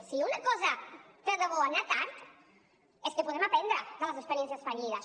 si una cosa té de bo anar tard és que podem aprendre de les experiències fallides